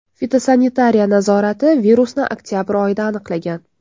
Fitosanitariya nazorati virusni oktabr oyida aniqlagan.